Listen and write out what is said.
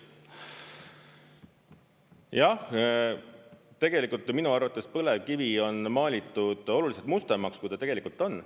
Jah, tegelikult minu arvates põlevkivi on maalitud oluliselt mustemaks, kui ta tegelikult on.